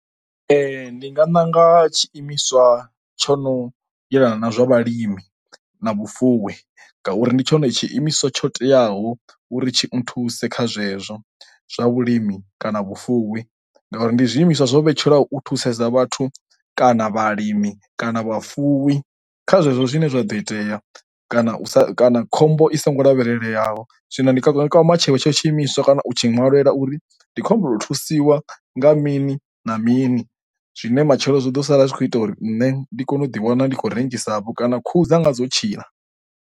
Ee, ndi nga ṋanga tshiimiswa tsho no yelana na zwa vhalimi na vhufuwi ngauri ndi tshone tshiimiswa tsho teaho uri tshi nthuse kha zwezwo zwa vhulimi kana vhufuwi ngauri ndi zwiimiswa zwo vhetshelwa u thusedza vhathu kana vhalimi kana vhafuwi kha zwezwo zwine zwa ḓo itea kana u sa kana khombo i songo lavhelela. Zwino ndi kwa matshelo tsho tshi imiswa kana u tshi ṅwa lwela uri ndi khombo nda thusiwa nga mini na mini zwine matshelo zwi ḓo sala zwi kho ita uri nṋe ndi kone u ḓi wana ndi khou rengisa vho kana khuhu dzanga dzo tshila.